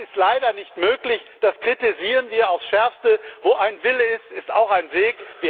Das ist leider nicht möglich, das kritisieren wir aufs Schärfste. Wo ein Wille ist, ist auch